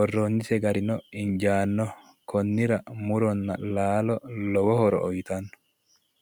Worroonnise garino injaanno. Konnira muronna laalo lowo horo uyitanno.